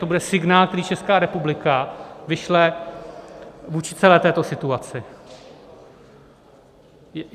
To bude signál, který Česká republika vyšle vůči celé této situaci.